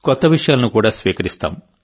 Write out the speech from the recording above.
కొత్త విషయాలను కూడా స్వీకరిస్తాం